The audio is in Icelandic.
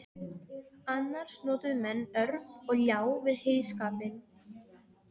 Annars notuðu menn orf og ljá við heyskapinn.